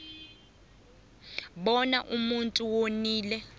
bona umuntu wonile